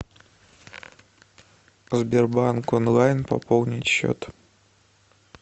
сбербанк онлайн пополнить счет